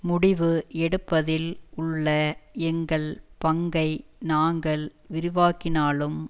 முடிவு எடுப்பதில் உள்ள எங்கள் பங்கை நாங்கள் விரிவாக்கினாலும்